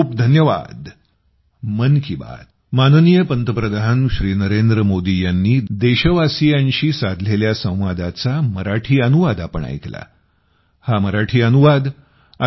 खूपखूप धन्यवाद